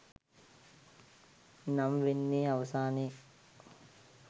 නම් වෙන්නෙ අවසානයේ.